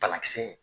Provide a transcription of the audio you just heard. Banakisɛ in